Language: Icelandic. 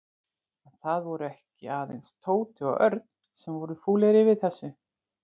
En það voru ekki aðeins Tóti og Örn sem voru fúlir yfir þessu.